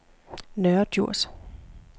Nørre Djurs